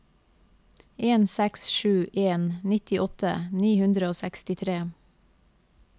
en seks sju en nittiåtte ni hundre og sekstitre